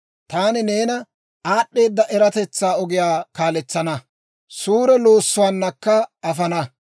Taani neena aad'd'eeda eratetsaa ogiyaa kaaletsana; suure loossuwaanakka afana.